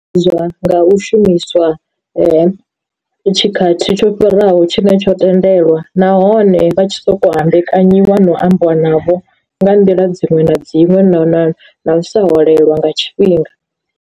Nga u shumiswa tshikhathi tsho fhiraho tshine tsho tendelwa, nahone vha tshi soko hambekanyiwa no ambiwa navho nga nḓila dziṅwe na dziṅwe na sa holelwa nga tshifhinga.